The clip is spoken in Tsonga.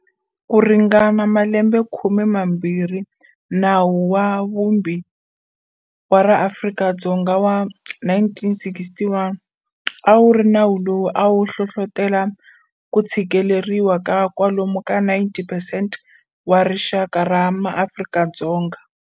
Ku ringana malembekhume mambirhi, Nawu wa Vumbi wa ra Afrika-Dzonga wa 1961 a ku ri nawu lowu a wu hlohlotela ku tshikeleriwa ka kwalomu ka 90 percent wa rixaka ra MaAfrika-Dzonga.